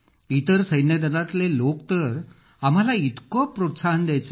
इतर सैन्यदलातले लोक तर आम्हाला इतकं प्रोत्साहन द्यायचे